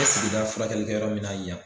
E sigida furakɛlikɛyɔrɔ min na yan